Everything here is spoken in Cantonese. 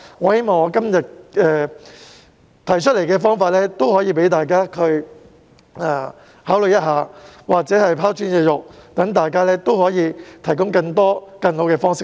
我希望我今天提出的方法可供大家考慮，或者可以拋磚引玉，說不定能讓大家提出更多和更好的方式。